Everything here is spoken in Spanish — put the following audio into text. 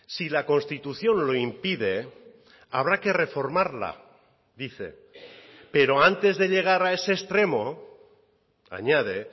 si la constitución lo impide habrá que reformarla dice pero antes de llegar a ese extremo añade